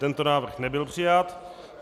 Tento návrh nebyl přijat.